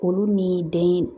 Olu ni den